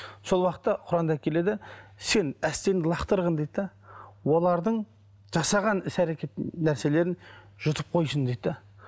сол уақытта құранда келеді сен әстеңді лақтырғын дейді де олардың жасаған іс әрекет нәрселерін жұтып қойсын дейді де